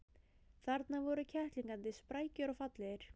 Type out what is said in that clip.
Þarna voru kettlingarnir, sprækir og fallegir.